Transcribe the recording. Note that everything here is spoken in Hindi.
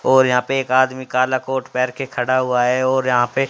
और यहां पे एक आदमी काला कोट पहन के खड़ा हुआ है और यहां पे--